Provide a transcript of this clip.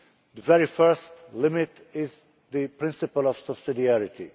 The very first limit is the principle of subsidiarity.